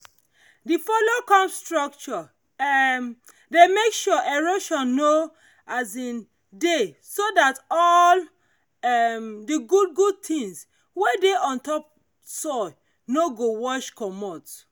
the follow come structure um dey make sure erosion no um dey so that all um the good good things wey dey on top no go wash comot.